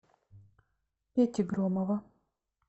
пети громова